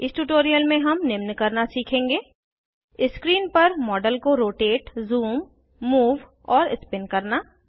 इस ट्यूटोरियल में हम निम्न करना सीखेंगे स्क्रीन पर मॉडल को रोटेट ज़ूम मूव और स्पिन करना